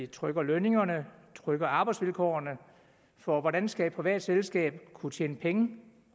trykker lønningerne trykker arbejdsvilkårene for hvordan skal et privat selskab kunne tjene penge